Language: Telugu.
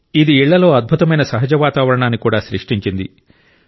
ఇది ఇళ్లలో అద్భుతమైన సహజ వాతావరణాన్ని కూడా సృష్టించింది